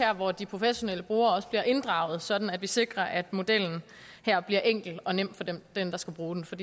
hvor de professionelle brugere også bliver inddraget sådan at vi sikrer at modellen her bliver enkel og nem for dem der skal bruge den for